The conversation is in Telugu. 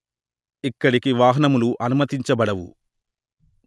ఇక్కడికి వాహనములు అనుమతించబడవు